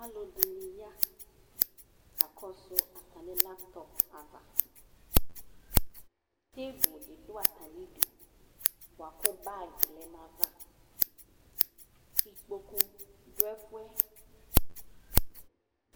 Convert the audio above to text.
alʋɛdini ya kakɔsʋ atani laptop aɣa, table di dʋ atani idʋ bʋakʋ bagi lɛnʋ aɣa, ikpɔkʋ dʋ ɛƒʋɛ